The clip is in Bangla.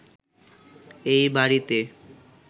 এ বাড়িতে